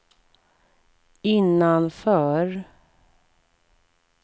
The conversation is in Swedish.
innanför